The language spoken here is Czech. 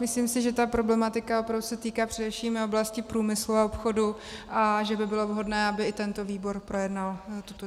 Myslím si, že ta problematika opravdu se týká především oblasti průmyslu a obchodu a že by bylo vhodné, aby i tento výbor projednal tuto dohodu.